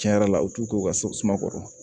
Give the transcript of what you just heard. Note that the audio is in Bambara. Cɛn yɛrɛ la u t'u k'u ka so suma kɔrɔ